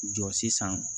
Jɔ sisan